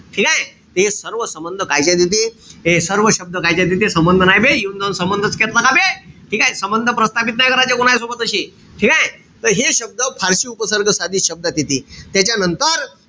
ठीकेय? ते सर्व संबंध कायच्यात येते? हे सर्व शब्द कायच्यात येते? संबंध नाई बे, येऊन जाऊन संबंधच करता का बे? ठीकेय? संबंध प्रस्थापित नाई करायचे कोणासोबत तशे. ठीकेय? त हे शब्द फारशी उपसर्ग साधित शब्दात येते. त्याच्यानंतर,